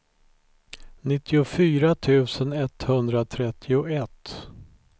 nittiofyra tusen etthundratrettioett